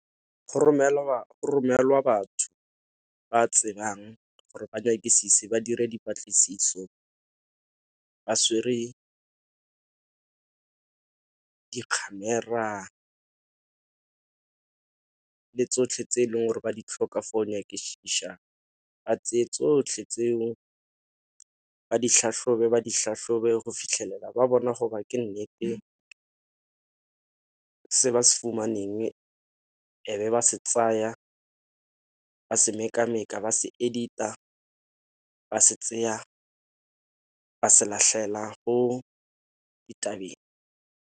Go romelwa batho ba tsebang gore ba ba dire dipatlisiso ba di-camera, le tsotlhe tse e leng gore ba di tlhoka for go nyakišiša ba tseye tsotlhe tseo ba di tlhatlhobe ba di tlhatlhobe go fitlhelela ba bona go ba ke nnete se ba se fumaneng e be ba se tsaya ba se meka-meka ba se edit-a ba se ba se latlhela go ditaba.